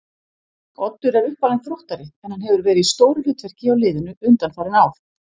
Oddur er uppalinn Þróttari en hann hefur verið í stóru hlutverki hjá liðinu undanfarin ár.